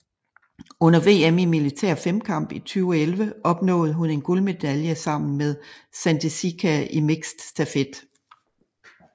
Under VM i militær femkamp i 2011 opnåede hun en guldmedalje sammen med Sandis Šika i mixed stafet